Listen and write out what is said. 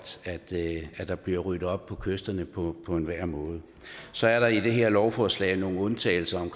at der bliver ryddet op på kysterne på enhver måde så er der i det her lovforslag nogle undtagelser om